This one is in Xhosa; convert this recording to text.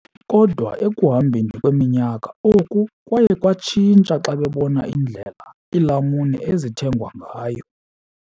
Kodwa ekuhambeni kweminyaka, oku kwaye kwatshintsha xa bebona indlela iilamuni ezithengwa ngayo.